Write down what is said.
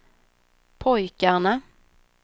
pojkarna